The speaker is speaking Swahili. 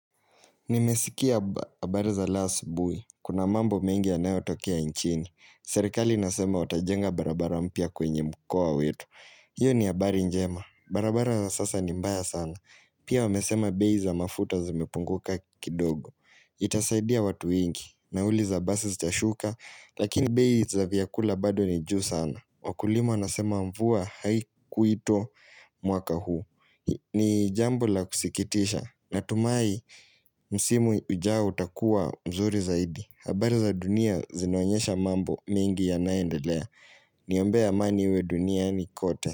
Nimesikia habari za leo asubuhi. Kuna mambo mengi yanoyo tokea nchini. Serikali nasema watajenga barabara mpya kwenye mkoa wetu. Hiyo ni habari njema. Barabara za sasa ni mbaya sana. Pia wamesema bei za mafuta zimepunguka kidogo. Itasaidia watu wengi. Nauli za basi zitashuka. Lakini bei za vyakula bado ni juu sana. Wakulima wanasema mvua haikuitwa mwaka huu. Ni jambo la kusikitisha. Natumai msimu ujao utakua mzuri zaidi habari za dunia zinonyesha mambo mengi yanayo endelea Niombe amani iwe duniani kote.